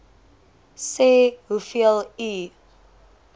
sê hoeveel u